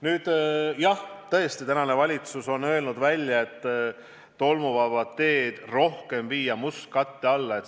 Nüüd, jah, tõesti, tänane valitsus on öelnud välja, et rohkem tolmuvabu teid on vaja viia mustkatte alla.